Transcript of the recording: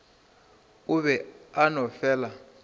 o be a no fela